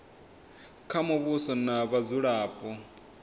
kha muvhuso na vhadzulapo sa